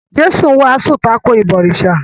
Jésù wàásù tako “ìbọ̀rìsà”.